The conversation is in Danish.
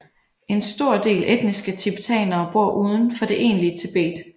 En stor del etniske tibetanere bor uden for det egentlige Tibet